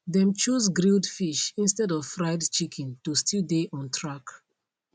dem choose grilled fish instead of fried chicken to still dey on track